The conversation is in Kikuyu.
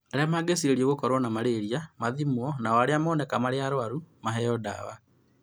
Arĩa mangĩcirĩrio gũkorũo na malaria mathimwo nao arĩa moneka marĩ arwaru mahoe dawa